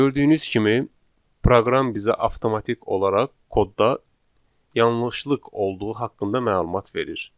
Gördüyünüz kimi proqram bizə avtomatik olaraq kodda yanlışlıq olduğu haqqında məlumat verir.